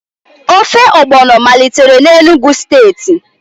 Ofe ogbọno malitere na Enugu steeti